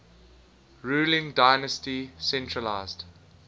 ruling dynasty centralised